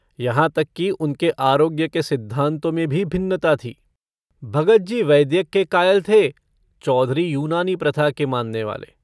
यहाँ तक कि उनके आरोग्य के सिद्धान्तों में भी भिन्नता थी। भगतजी वैद्यक के कायल थे, चौधरी यूनानी प्रथा के माननेवाले।